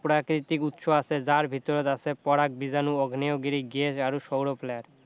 প্ৰাকৃতিক উৎস আছে যাৰ ভিতৰত আছে পৰাগ বীজাণু আগ্নে়গিৰী গেছ আৰু সৌৰ flare